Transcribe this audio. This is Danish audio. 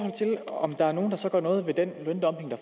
at om der er nogen der så gør noget ved den løndumping